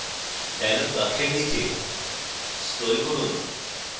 dialog box নীচে scroll করুন